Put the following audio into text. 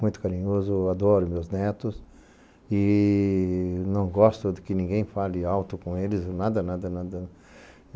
Muito carinhoso, adoro meus netos e não gosto de que ninguém fale alto com eles, nada, nada, nada.